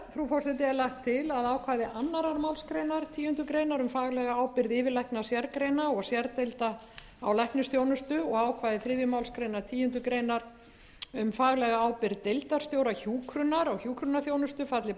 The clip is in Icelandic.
frú forseti er lagt til að ákvæði annarrar málsgreinar tíundu greinar um faglega ábyrgð yfirlækna sérgreina og sérdeilda á læknisþjónustu og ákvæði þriðju málsgreinar tíundu greinar um faglega ábyrgð deildarstjóra hjúkrunar á hjúkrunarþjónustu falli